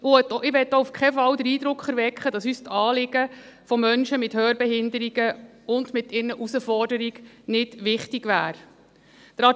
Ich möchte auch auf keinen Fall den Eindruck erwecken, dass uns die Anliegen von Menschen mit Hörbehinderungen und ihre Herausforderungen nicht wichtig wären.